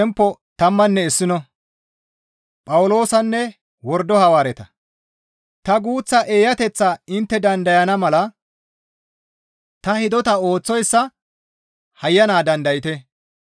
Ta guuththa eeyateththaa intte dandayana mala ta hidota ooththoyssa hayyana dandayte.